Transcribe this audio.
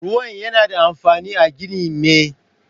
Ruwan yana da amfani a ginin me.